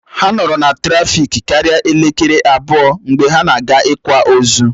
Ha nọrọ na trafiki karia elekere abụọ mgbe ha na-aga ị̀kwa ozu